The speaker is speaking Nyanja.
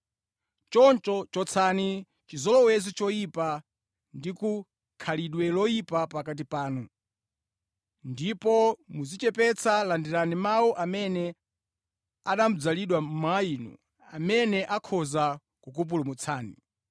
Choncho chotsani chizolowezi choyipa ndi khalidwe loyipa pakati panu, ndipo modzichepetsa landirani mawu amene anadzalidwa mwa inu, amene akhoza kukupulumutsani.